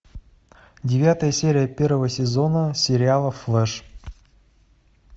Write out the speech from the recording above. девятая серия первого сезона сериала флэш